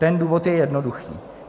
Ten důvod je jednoduchý.